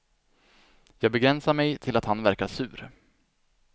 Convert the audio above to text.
Jag begränsar mig till att han verkar sur.